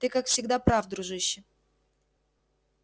ты как всегда прав дружище